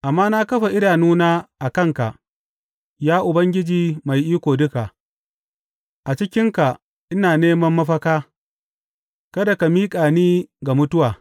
Amma na kafa idanuna a kanka, ya Ubangiji Mai Iko Duka; a cikinka ina neman mafaka, kada ka miƙa ni ga mutuwa.